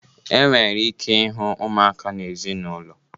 E nwere ike ịhụ ụmụaka na ezinaụlọ.